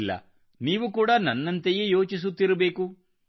ಇಲ್ಲ ನೀವು ಕೂಡ ನನ್ನಂತೆಯೇ ಯೋಚಿಸುತ್ತಿರಬೇಕು